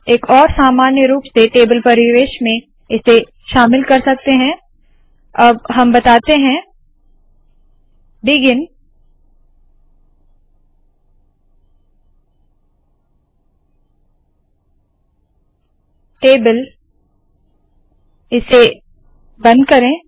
एक और सामान्य रूप से टेबल परिवेश में इसे शामिल कर सकते है अब हम बताते है बिगिन टेबल इसे बंद करे